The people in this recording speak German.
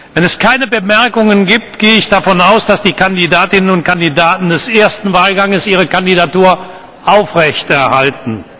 Wenn es keine Bemerkungen gibt, gehe ich davon aus, dass die Kandidatinnen und Kandidaten des ersten Wahlgangs ihre Kandidatur aufrechterhalten.